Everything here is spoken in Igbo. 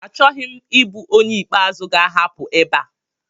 Achọghị m ịbụ onye ikpeazụ ga-ahapụ ebe a